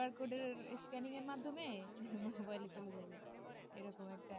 QRcode scanning এর মাধ্যমে উম mobile চলে যাবে এরকম একটা